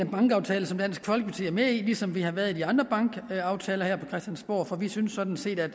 bankaftale som dansk folkeparti er med i ligesom vi har været i de andre bankaftaler her på christiansborg for vi synes sådan set at